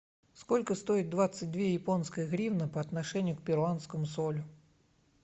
сколько стоит двадцать две японские гривны по отношению к перуанскому солю